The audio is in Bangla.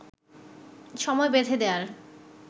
সময় বেঁধে দেয়ার